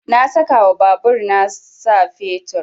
Na saka wa babur na sa fetur